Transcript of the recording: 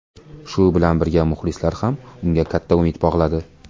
Shu bilan birga muxlislar ham unga katta umid bog‘ladi.